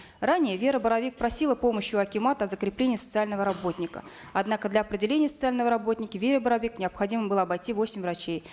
ранее вера боровик просила помощи у акимата закрепления социального работника однако для определения социального работника вере боровик необходимо было обойти восемь врачей